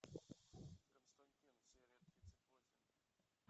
константин серия тридцать восемь